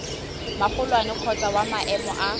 magolwane kgotsa wa maemo a